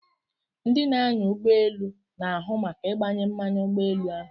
Ndị na-anya ụgbọ elu na-ahụ maka ịgbanye mmanụ ụgbọ elu.